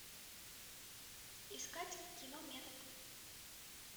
искать кино метод